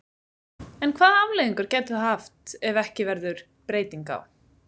En hvaða afleiðingar gætu það haft ef ekki verður breyting á?